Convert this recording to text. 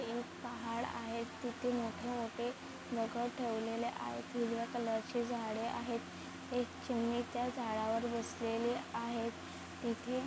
एक पहाड़ आहे तिथे मोठे-मोठे दगड ठेवलेले आहे हिरव्या कलर चे झाड़े आहेत एक चिमणि त्या झाडावर बसलेली आहे इथे--